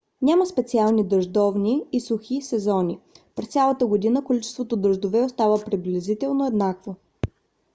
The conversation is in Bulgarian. няма специални дъждовни и сухи сезони: през цялата година количеството дъждове остава приблизително еднакво